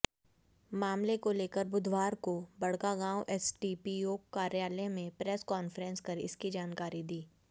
मामले को लेकर बुधवार को बड़कागांव एसडीपीओ कार्यालय में प्रेस कॉन्फ्रेंस कर इसकी जानकारी दी